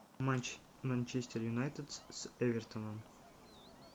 матч манчестер юнайтед с эвертоном